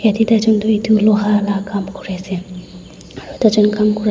yedey taijun duh itu luha lah kam kuri ase aru tai jun kam kura--